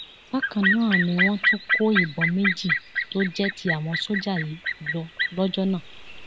bákan náà ni wọn tún kó ìbọn méjì tó jẹ ti àwọn sójà yìí lọ lọjọ náà